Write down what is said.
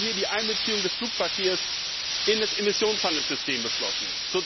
Wir haben hier die Einbeziehung des Flugverkehrs in das Emissionshandelssystem beschlossen.